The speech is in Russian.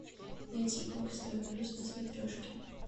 найти бокс тв плюс на смотрешке